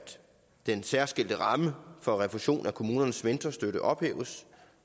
den særskilte ramme for refusion af kommunernes mentorstøtte ophæves